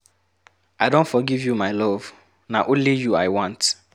I don forgive you my love, na only you I want.